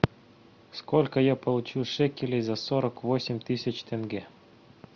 сколько я получу шекелей за сорок восемь тысяч тенге